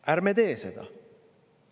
Ärme teeme seda!